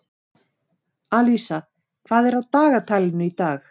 Alísa, hvað er á dagatalinu í dag?